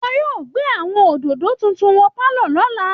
Wọ́n yóò gbé àwọn òdòdó tuntun wọ inú pálọ̀ lọ́la